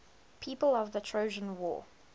people of the trojan war